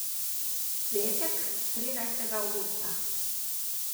Petek, trinajstega avgusta.